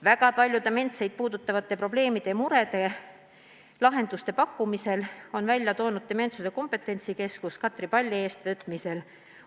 Väga paljude dementseid inimesi puudutavate probleemide ja murede lahendusi on pakkunud Dementsuse Kompetentsikeskus Katre Palli eestvõtmisel.